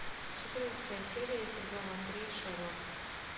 четырнадцатая серия сезона три шерлок